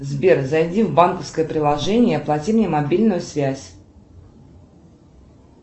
сбер зайди в банковское приложение и оплати мне мобильную связь